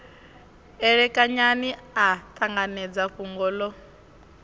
elekanyani a ṱanganedza fhungo ḽo